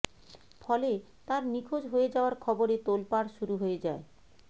ফলে তাঁর নিখোঁজ হয়ে যাওয়ার খবরে তোলপাড় শুরু হয়ে যায়